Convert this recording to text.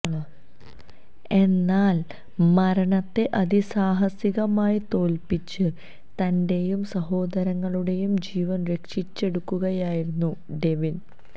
എന്നാൽ മരണത്തെ അതിസാഹസികമായി തോൽപിച്ച് തന്റെയും സഹോദരങ്ങളുടെയും ജീവൻ രക്ഷിച്ചെടുക്കുകയായിരുന്നു ഡെവിൻ